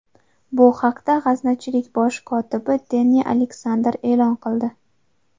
Bu haqda g‘aznachilik bosh kotibi Denni Aleksander e’lon qildi.